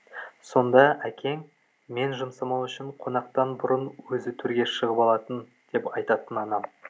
сонда әкең мен жұмсамау үшін қонақтан бұрын өзі төрге шығып алатын деп айтатын анам